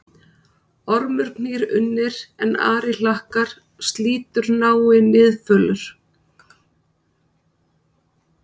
Ormur knýr unnir, en ari hlakkar, slítur nái Niðfölur